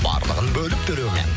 барлығын бөліп төлеумен